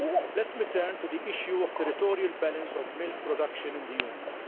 Let me turn to the issue of the territorial balance of milk production in the Union.